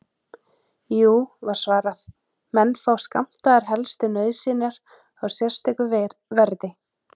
Jú, var svarað, menn fá skammtaðar helstu nauðsynjar á sérstöku verði.